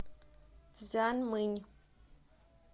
цзянмынь